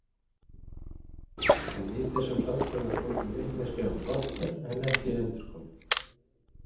En í þessum hlátri var fólgin vitneskja um brottför en ekki endurkomu.